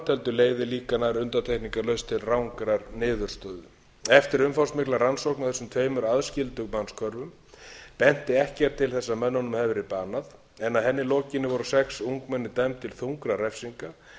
heldur leiðir líka nær undantekningarlaust til rangrar niðurstöðu eftir umfangsmikla rannsókn á þessum tveimur aðskildu mannshvörfum benti ekkert til þess að mönnunum hefði verið banað en að henni lokinni voru sex ungmenni dæmd til þungra refsinga